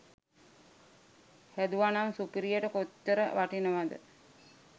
හැදුවනම් සුපිරියට කොච්චර වටිනවද.